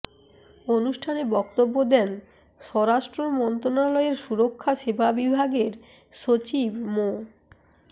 অনুষ্ঠানে বক্তব্য দেন স্বরাষ্ট্র মন্ত্রণালয়ের সুরক্ষা সেবা বিভাগের সচিব মো